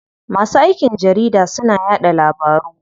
Masu aikin jarida suna yaɗa labaru.